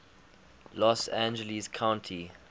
los angeles county